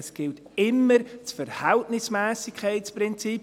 Es gibt immer das Verhältnismässigkeitsprinzip.